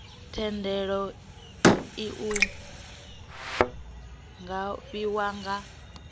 thendelo iu nga fhiwa nga